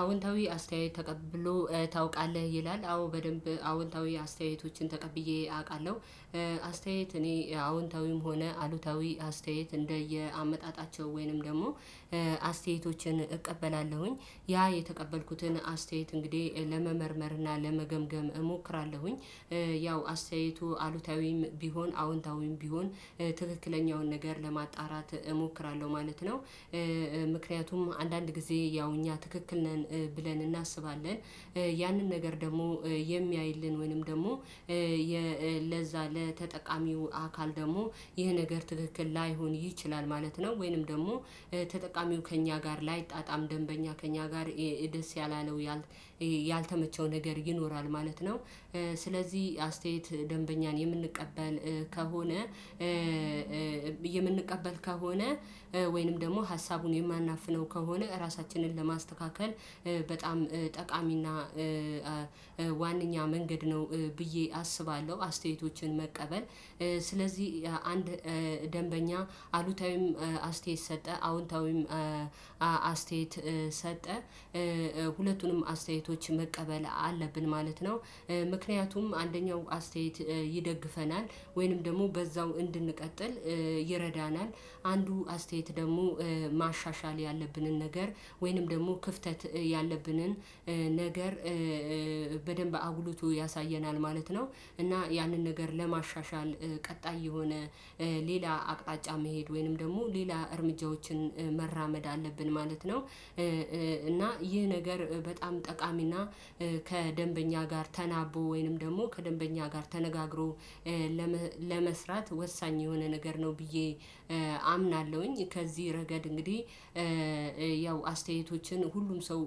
አዎንታዊ አስተያየት ተቀብሎ ታውቃለህ? ይላል አዎ በደንብ አዎንታዊ አስተያየቶችን ተቀብዬ አውቃለሁ አስተያየት እኔ አዎንታዊም ሆነ አሉታዊ አስተያየት እንደየአመጣጣቸው ወይንም ደግሞ አስተያየቶችን እቀበላለሁኝ ያ የተቀበልኩትን አስተያየት እንግዲህ ለመመርመር እና ለመገምገም እሞክራለሁኝ። ያው አስተያየቱ አሉታዊም ቢሆን አዎንታዊም ቢሆን ትክክለኛውን ነገር ለማጣራት እሞክራለሁ ማለት ነው። ምክንያቱም አንዳንድ ጊዜ ያው እኛ ትክክል ነን ብለን እናስባለን ያንን ነገር ደግሞ የሚያይልን ወይንም ደግሞ ለዛ ለተጠቃሚው አካል ደግሞ ይህ ነገር ትክክል ላይሆን ይችላል ማለት ነው ወይንም ደግሞ ተጠቃሚው ከእኛ ጋር ላይጣጣም ደንበኛ ከእኛ ጋር ደስ ያላለው ያልተመቸው ነገር ይኖራል ማለት ነው። ስለዚህ አስተያየት ደንበኛን የምንቀበል ከሆነ የምንቀበል ከሆነ ወይንም ደግሞ ሀሳቡን የማናፍነው ከሆነ ራሳችንን ለማስተካከል በጣም ጠቃሚና ዋናኛ መንገድ ነው ብዬ አስባለሁ አስተያየቶችን መቀበል ስለዚህ አንድ ደንበኛ አሉታዊም አስተያየት ሰጠ አዎንታዊም አስተያየት ሰጠ ሁለቱንም አስተያየቶች መቀበል አለብን ማለት ነው። ምክንያቱም አንደኛው አስተያየት ይደግፈናል ወይንም ደግሞ በዛው እንድንቀጥል ይረዳናል አንዱ አስተያየት ደግሞ ማሻሻል ያለብንን ነገር ወይንም ደግሞ ክፍተት ያለብንን ነገር በደንብ አጉልቶ ያሳየናል ማለት ነው እና ያንን ነገር ለማሻሻል ቀጣይ የሆነ ሌላ አቅጣጫ መሄድ ወይንም ደግሞ ሌላ እርምጃዎችን መራመድ አለብን ማለት ነው እና ይህ ነገር በጣም ጠቃሚና ከደንበኛ ጋር ተናቦ ወይንም ደግሞ ከደንበኛ ጋር ተነጋግሮ ለመስራት ወሳኝ የሆነ ነገር ነው ብዬ አምናለሁኝ ከዚህ ረገድ እንግዲህ ያው አስተያየቶችን ሁሉም ሰው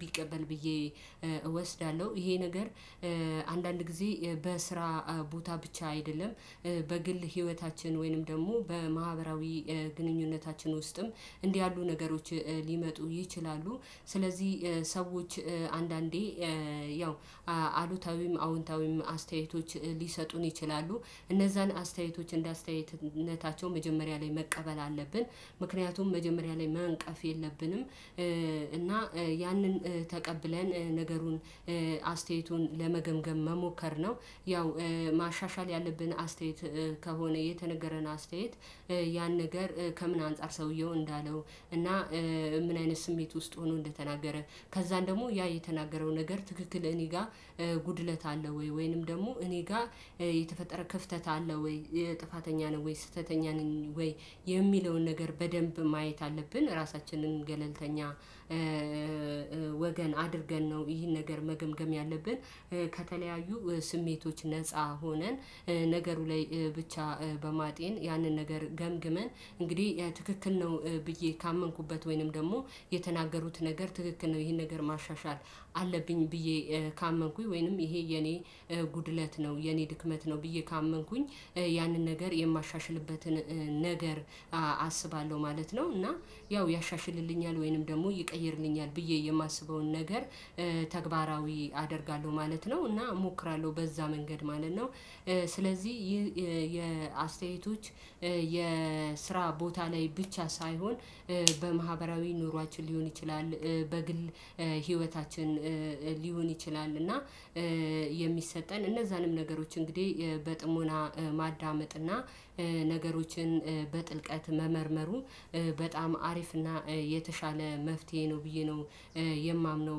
ቢቀበል ብዬ እወስዳለሁ። ይሄ ነገር አንዳንድ ጊዜ በስራ ቦታ ብቻ አይደለም በግል ህይወታችን ወይንም ደግሞ በማህበራዊ ግንኙነታችን ውስጥም እንዲህ ያሉ ነገሮች ሊመጡ ይችላሉ ስለዚህ ሰዎች አንዳንዴ ያው አሉታዊም አዎንታዊም አስተያየቶች ሊሰጡን ይችላሉ እነዛን አስተያየቶች እንደ አስተያየትነታቸው መጀመሪያ ላይ መቀበል አለብን ምክንያቱም መጀመሪያ ላይ መንቀፍ የለብንም። እና ያንን ተቀብለን ነገሩን አስተያየቱን ለመገምገም መሞከር ነው። ያው ማሻሻል ያለብን አስተያየት ከሆነ የተነገረን አስተያየት ያን ነገር ከምን አንፃር ሰውየው እንዳለው እና ምን አይነት ስሜት ውስጥ ሆኖ እንደተናገረ ከዛም ደግሞ ያ የተናገረው ነገር ትክክል እኔ ጋር ጉድለት አለው ወይ ወይንም ደግሞ እኔ ጋር የተፈጠረ ክፍተት አለው ወይ የ ጥፋተኛ ነኝ ወይ ስህተተኛ ነኝ ወይ የሚለውን ነገር በደንብ ማየት አለብን ራሳችንን ገለልተኛ ወገን አድርገን ነው ይህን ነገር መገምገም ያለብን ከተለያዩ ስሜቶች ነፃ ሆነን ነገሩ ላይ ብቻ በማጤን ያንን ነገር ገምግመን እንግዲህ ትክክል ነው ብዬ ካመንኩበት ወይንም ደግሞ የተናገሩት ነገር ትክክል ነው ይሄን ነገር ማሻሻል አለብኝ ብዬ ካመንኩኝ ወይንም ይሄ የኔ ጉድለት ነው የኔ ድክመት ነው ብዬ ካመንኩኝ ያንን ነገር የማሻሽልበትን ነገር አስባለሁ ማለት ነው እና ያው ያሻሽልልኛል ወይንም ደግሞ ይቀይርልኛል ብዬ የማስበውን ነገር ተግባራዊ አደርጋለሁ ማለት ነው እና እሞክራለሁ በዛ መንገድ ማለት ነው ስለዚህ ይህ የአስተያየቶች የስራ ቦታ ላይ ብቻ ሳይሆን በማህበራዊ ኑሯችን ሊሆን ይችላል በግል ህይወታችን ሊሆን ይችላል እና የሚሰጠን እነዛንም ነገሮች እንግዲህ በጥሞና ማዳመጥና ነገሮችን በጥልቀት መመርመሩ በጣም አሪፍ እና የተሻለ መፍትሄ ነው ብዬ ነው የማምነው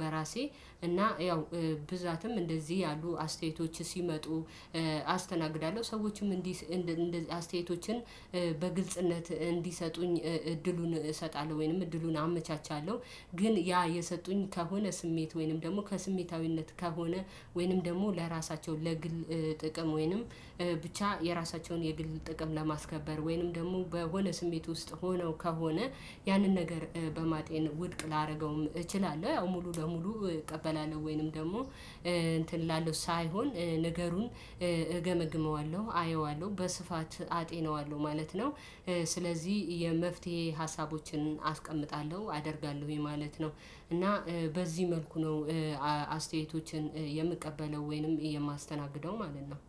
በራሴ እና ያው ብዛትም እንደዚህ ያሉ አስተያየቶች ሲመጡ አስተናግዳለሁ ሰዎችም እንዲህ እንደዚህ አስተያየቶችን በግልጽነት እንዲሰጡኝ እድሉን እሰጣለሁ ወይንም እድሉን አመቻቻለሁ። ግን ያ የሰጡኝ ከሆነ ስሜት ወይንም ደግሞ ከስሜታዊነት ከሆነ ወይንም ደግሞ ለራሳቸው ለግል ጥቅም ወይንም ብቻ የራሳቸውን የግል ጥቅም ለማስከበር ወይንም ደግሞ በሆነ ስሜት ውስጥ ሆነው ከሆነ ያንን ነገር በማጤን ውድቅ ላደርገውም እችላለሁ ያው ሙሉ በሙሉ እቀበላለሁ ወይንም ደግሞ እንትን እላለሁ ሳይሆን ንገሩን እገመግመዋለሁ አየዋለሁ በስፋት አጤነዋለሁ ማለት ነው። ስለዚህ የመፍትሄ ሀሳቦችን አስቀምጣለሁ አደርጋለሁ ምን ማለት ነው እና በዚህ መልኩ ነው አስተያየቶችን የምቀበለው ወይንም የማስተናግደው ማለት ነው።